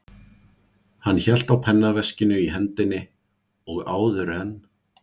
Hann hélt á pennaveskinu í hendinni og áður en